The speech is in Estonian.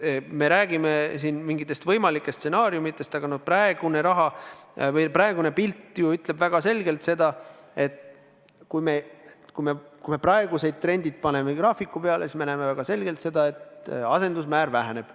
Me räägime siin mingitest võimalikest stsenaariumidest, aga praegune pilt ju ütleb väga selgelt seda, et kui me teeme praeguste trendide kohta graafiku, siis me näeme väga selgelt, et asendusmäär väheneb.